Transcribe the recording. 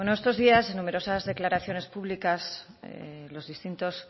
bueno en estos días en numerosas declaraciones públicas los distintos